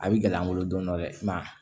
A bɛ gɛlɛya n bolo don dɔ dɛ i ma